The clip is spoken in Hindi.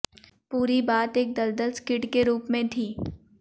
पूरी बात एक दलदल स्किड के रूप में थी